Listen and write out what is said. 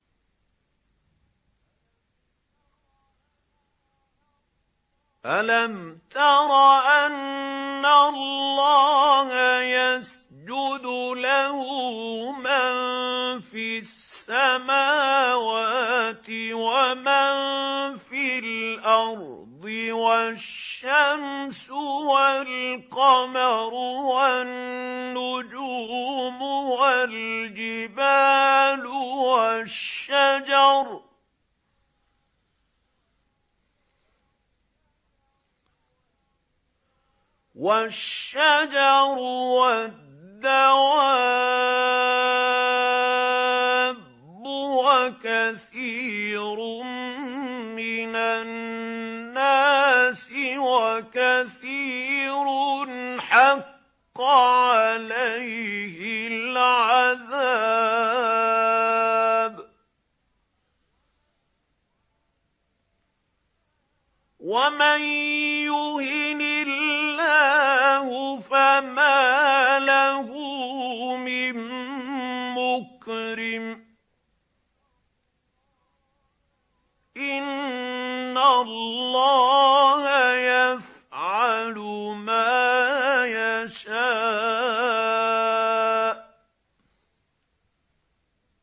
أَلَمْ تَرَ أَنَّ اللَّهَ يَسْجُدُ لَهُ مَن فِي السَّمَاوَاتِ وَمَن فِي الْأَرْضِ وَالشَّمْسُ وَالْقَمَرُ وَالنُّجُومُ وَالْجِبَالُ وَالشَّجَرُ وَالدَّوَابُّ وَكَثِيرٌ مِّنَ النَّاسِ ۖ وَكَثِيرٌ حَقَّ عَلَيْهِ الْعَذَابُ ۗ وَمَن يُهِنِ اللَّهُ فَمَا لَهُ مِن مُّكْرِمٍ ۚ إِنَّ اللَّهَ يَفْعَلُ مَا يَشَاءُ ۩